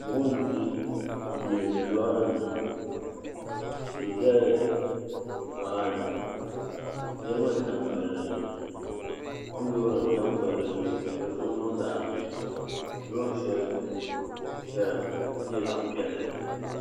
Buɣim n di yiya ni lora nima tihi zala nimaani niriba n tam palli zuɣa kom loori n tam palli zuɣu ka dizuɣu niŋ zaɣa ʒee loori sheli zaya ka nyɛ zaɣa piɛlli.